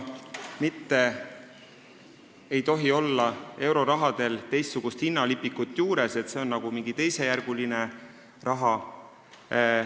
Eurorahal ei tohi olla juures teistsugust hinnalipikut, nagu see oleks mingi teisejärguline raha.